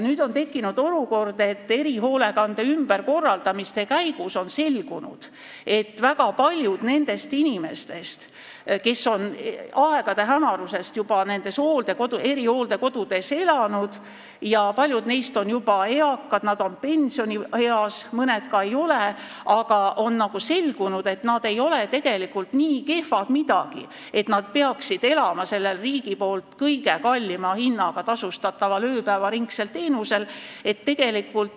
Nüüd on erihoolekande ümberkorraldamise käigus selgunud, et väga paljud nendest inimestest, kes on aegade hämarusest juba nendes erihooldekodudes elanud – paljud neist on juba eakad, nad on pensionieas, mõned ka ei ole –, ei ole tegelikult nii kehvad midagi, et nad peaksid saama seda riigi poolt kõige kallima hinnaga tasustatavat ööpäevaringset teenust.